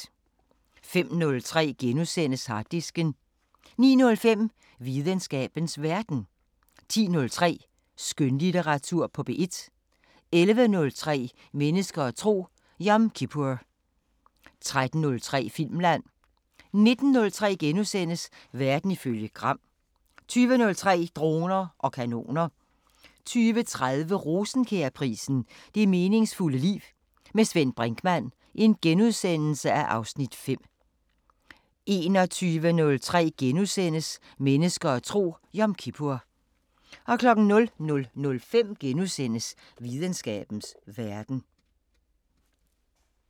05:03: Harddisken * 09:05: Videnskabens Verden 10:03: Skønlitteratur på P1 11:03: Mennesker og tro: Yom kippur 13:03: Filmland 19:03: Verden ifølge Gram * 20:03: Droner og kanoner 20:30: Rosenkjærprisen: Det meningsfulde liv. Med Svend Brinkmann (Afs. 5)* 21:03: Mennesker og tro: Yom kippur * 00:05: Videnskabens Verden *